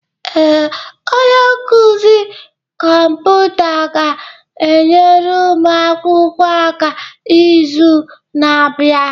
Ee, onye nkuzi kọmputa ga-enyere ụmụ akwụkwọ aka n'izu na-abịa.